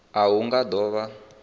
a hu nga do vha